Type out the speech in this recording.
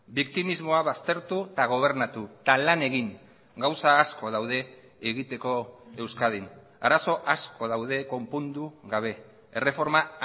biktimismoa baztertu eta gobernatu eta lan egin gauza asko daude egiteko euskadin arazo asko daude konpondu gabe erreforma